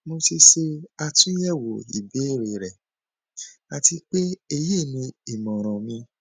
mo ti ṣe atunyẹwo ibeere rẹ ati pe eyi ni imọran mi